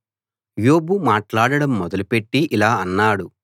యోబు మాట్లాడడం మొదలు పెట్టి ఇలా అన్నాడు